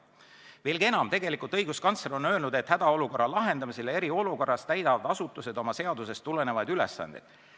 Veelgi enam, tegelikult on õiguskantsler öelnud: "Hädaolukorra lahendamisel ja eriolukorras täidavad asutused oma seadustest tulenevaid ülesandeid.